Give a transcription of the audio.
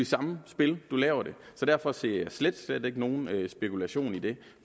samspil så derfor ser jeg slet slet ikke nogen spekulation i det